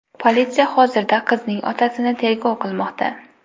Politsiya hozirda qizning otasini tergov qilmoqda.